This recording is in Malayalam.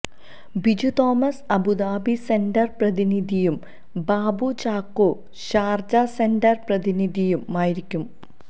ബിജു തോമസ് അബുദാബി സെന്റർ പ്രതിനിധിയും ബാബു ചാക്കോ ഷാർജ സെന്റർ പ്രധിനിധിയുമായിരിക്കും